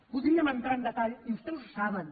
podríem entrar en detall i vostès ho saben